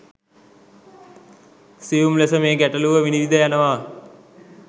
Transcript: සියුම් ලෙස මේ ගැටලුව විනිවිද යනව.